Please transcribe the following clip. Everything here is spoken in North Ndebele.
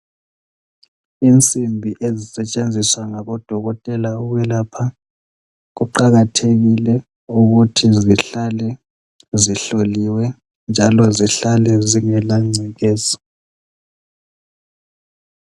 Insimbi ezisetshenziswa ngabodokotela ukwelapha kuqakathekile ukuthi zihlale zihloliwe njalo zihlale zingela ngcekeza.